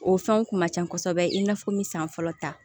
O fɛnw kun ka ca kosɛbɛ i n'a fɔ min san fɔlɔ ta